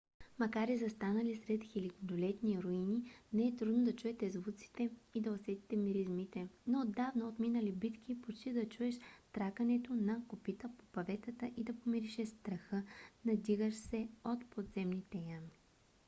макар и застанали сред хилядолетни руини не е трудно да чуете звуците и да усетите миризмите на отдавна отминали битки почти да чуеш тракането на копита по паветата и да помиришеш страха надигащ се от подземните ями